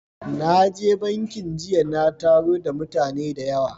Na je bankin jiya na taro da mutane da yawa